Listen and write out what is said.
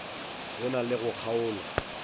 go na le go kgaolwa